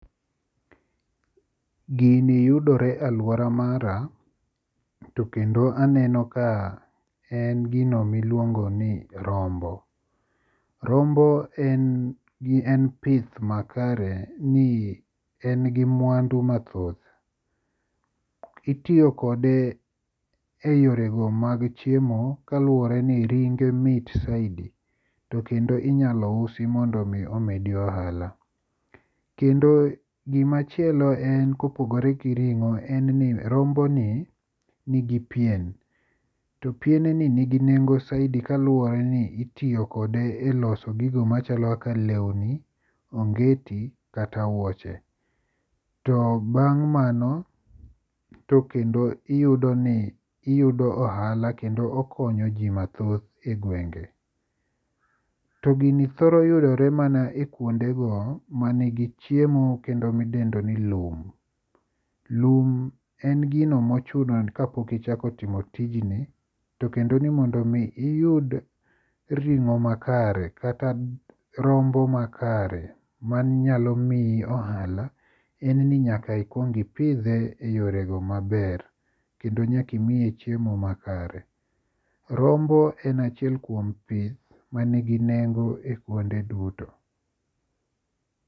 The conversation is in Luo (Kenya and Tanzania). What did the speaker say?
Gini yudore e aluora mara to kendo aneno ka en gino miluongo ni rombo. Rombo en gi en pith makare ni en gi mwandu mathoth. Itiyo kode e yorego mag chiemo kaluwore ni ringe mit saidii to kendo inyalo usi mondo omedi ohala. Kendo gima chielo en kopogore gi ring'o en ni romboni nigi pien to pien to pien ni nigi nengo saidi kaluwore ni itiyo kode e loso gigo machalo kaka lewni, ongeti kata wuoche. To bang' mano, iyudo ohala kend okonyo ji mathoth e gwenge. To gini thoro yudore mana ekuondego mani gi chiemo kendo midendo ni lum. Lum en gino mochuno kapok ichako timo tijini to kendo ni mondo mi iyud ring'o makare kata rombo makare manyalo miyi ohala en ni nyaka ikuong ipidhe eyorego maber kendo nyala imiye chiemo makare. Rombo en achiel kuom pith man gi nengo e kuonde duto.